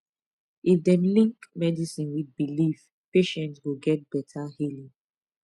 if dem link medicine with belief patient go get better healing